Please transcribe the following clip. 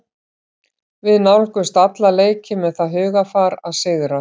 Við nálgumst alla leiki með það hugarfar að sigra.